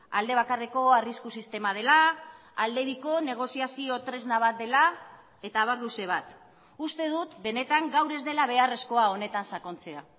alde bakarreko arrisku sistema dela alde biko negoziazio tresna bat dela eta abar luze bat uste dut benetan gaur ez dela beharrezkoa honetan sakontzea